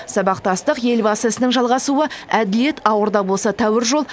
сабақтастық елбасы ісінің жалғасуы әділет ауыр да болса тәуір жол